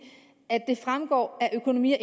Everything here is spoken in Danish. at det fremgår af økonomi og